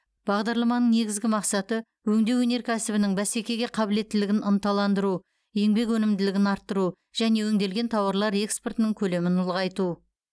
бағдарламаның негізгі мақсаты өңдеу өнеркәсібінің бәсекеге қабілеттілігін ынталандыру еңбек өнімділігін арттыру және өңделген тауарлар экспортының көлемін ұлғайту